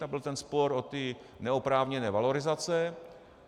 Tam byl ten spor o ty neoprávněné valorizace.